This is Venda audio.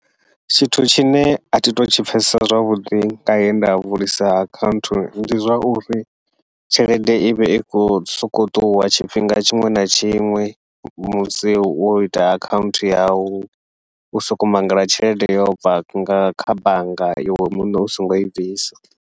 Tshithu tshine athi thu tshi pfhesesa zwavhuḓi nga henda vulisa akhaunthu, ndi zwa uri tshelede ivhe i khou sokou ṱuwa tshifhinga tshiṅwe na tshiṅwe musi wo ita akhanthu yau, u soko mangala tshelede yo bva nga kha bannga iwe muṋe u songo i bvisa.